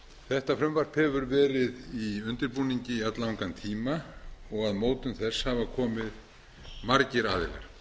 þetta frumvarp hefur verið í undirbúningi í alllangan tíma og að mótun þess hafa komið allmargir aðilar